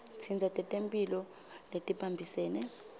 tinsita tetemphilo letibambisene